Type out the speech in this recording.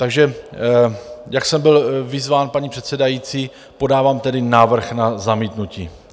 Takže jak jsem byl vyzván paní předsedající, podávám tedy návrh na zamítnutí.